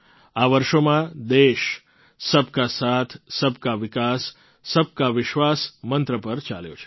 આ વર્ષોમાં દેશ સબ કા સાથ સબ કા વિકાસ સબ કા વિશ્વાસ મંત્ર પર ચાલ્યો છે